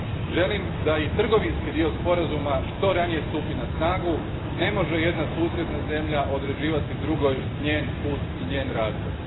Želim da i trgovinski dio sporazuma što ranije stupi na snagu ne može jedna susjedna zemlja određivati drugoj njezin put i razvoj.